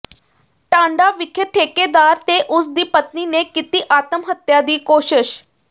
ਟਾਂਡਾ ਵਿਖੇ ਠੇਕੇਦਾਰ ਤੇ ਉਸਦੀ ਪਤਨੀ ਨੇ ਕੀਤੀ ਆਤਮ ਹੱਤਿਆ ਦੀ ਕੋਸ਼ਸ਼